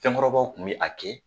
fɛnkɔrɔbaw tun bɛ a kɛ.